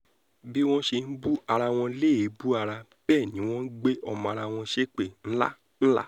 bí wọ́n ṣe ń búra wọn léébù ara bẹ́ẹ̀ ni wọ́n ń gbé ọmọ ará wọn ṣépè ńlá ńlá